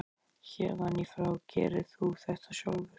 Héðan í frá gerir þú þetta sjálfur.